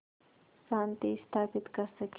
शांति स्थापित कर सकें